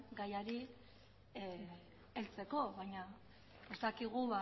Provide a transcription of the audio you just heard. gaiari heltzeko baina ez dakigu